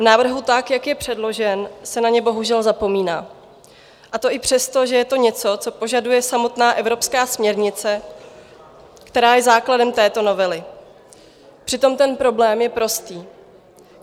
V návrhu tak, jak je předložen, se na ně bohužel zapomíná, a to i přesto, že je to něco, co požaduje samotná evropská směrnice, která je základem této novely, přitom ten problém je prostý.